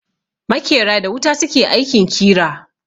Makera da wuta su ke aikin kira.